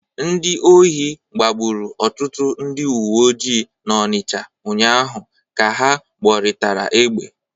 Ndị ohi gbagburu ọtụtụ ndị uwe ojii n'Ọnịcha ụnyaahụ ka ha gbọrịtara egbe.